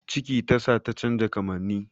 Ciki tasa ta canja kamanni